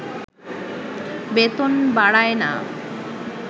বেতন বাড়ায়না